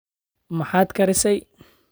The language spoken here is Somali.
maxaad karisay?